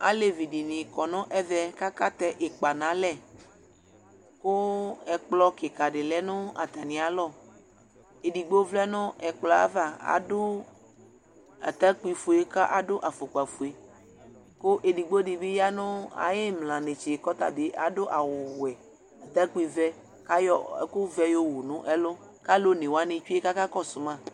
Alevi dɩnɩ kɔ nʋ ɛvɛ, kʋ akatɛ ɩkpa nʋ alɛ, kʋ ɛkplɔ kɩka dɩ lɛ nʋ atamɩ alɔ, edigbo vlɛ nʋ ɛkplɔ yɛ ava, adʋ atakpi fue, kʋ adʋ afʋkpa fue, kʋ edigbo dɩ bɩ ya nʋ ayʋ ɩmla netse kʋ ɔta bɩ adʋ awʋ wɛ, atakpi vɛ kʋ ayɔ ɛkʋ vɛ yowu nʋ ɛlʋ kʋ alʋ one wanɩ tsue kʋ akakɔsʋ ma